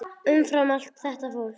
Umfram allt þetta fólk.